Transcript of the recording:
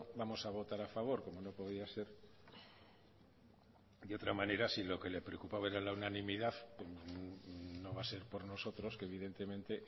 vamos a votar a favor como no podía ser de otra manera si lo que le preocupaba era la unanimidad no va a ser por nosotros que evidentemente